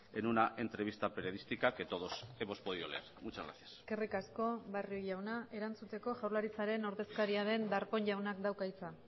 en una entrevista periodística que todos hemos podido leer muchas gracias eskerrik asko barrio jauna erantzuteko jaurlaritzaren ordezkaria den darpón jaunak dauka hitza